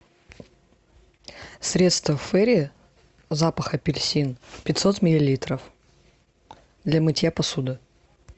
средство фэйри запах апельсин пятьсот миллилитров для мытья посуды